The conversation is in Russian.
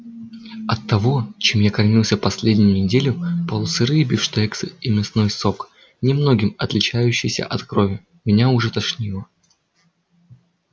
от того чем я кормился последнюю неделю полусырые бифштексы и мясной сок немногим отличающийся от крови меня уже тошнило